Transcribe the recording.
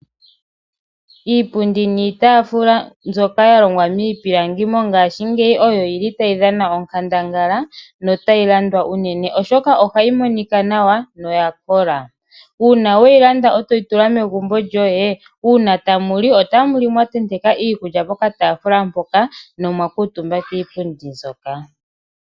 Iipundi niitaafula mbyoka ya longwa miipilangi mongaashingeyi oyo yili tayi dhana onkandangala notayi landwa unene oshoka ohayi monika nawa noya kola. Uuna weyi landa e toyi tula megumbo lyoye, uuna tamu li otamu li mwa tenteka iikulya pokataafula mpoka ne omwa kuutumba kiipundi mbyoka.